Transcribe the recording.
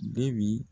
Debi